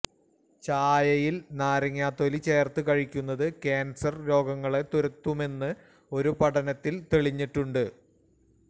ചായയില് നാരങ്ങത്തൊലി ചേര്ത്ത് കഴിക്കുന്നത് ക്യാന്സര് രോഗങ്ങളെ തുരത്തുമെന്ന് ഒരു പഠനത്തില് തെളിഞ്ഞിട്ടുണ്ട്